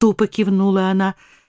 тупо кивнула она